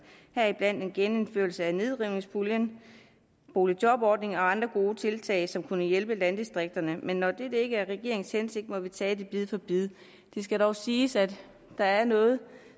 heriblandt en genindførelse af nedrivningspuljen og boligjobordningen og andre gode tiltag som kunne hjælpe landdistrikterne men når det ikke er regeringens hensigt må vi tage det bid for bid det skal dog siges at der er noget